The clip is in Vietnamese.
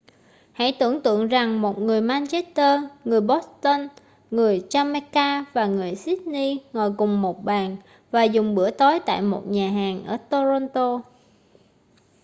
hãy tưởng tượng rằng một người manchester người boston người jamaica và người sydney ngồi cùng một bàn và dùng bữa tối tại một nhà hàng ở toronto